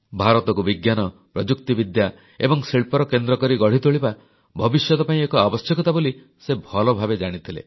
ଭାରତକୁ ବିଜ୍ଞାନ ପ୍ରଯୁକ୍ତିବିଦ୍ୟା ଏବଂ ଶିଳ୍ପର କେନ୍ଦ୍ରକରି ଗଢ଼ିତୋଳିବା ଭବିଷ୍ୟତ ପାଇଁ ଏକ ଆବଶ୍ୟକତା ବୋଲି ସେ ଭଲଭାବେ ଜାଣିଥିଲେ